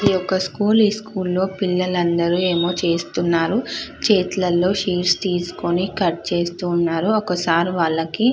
ఇది ఒక స్కూల్ . ఈ స్కూల్ లో పిల్లలందరూ ఏమో చేస్తున్నారు. చేతులలో సీట్స్ తీసుకోని కట్ చేస్తూ ఉన్నారు. ఒక సర్ వాళ్ళకి --